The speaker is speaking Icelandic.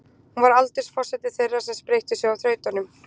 Hún var aldursforseti þeirra sem spreyttu sig á þrautunum.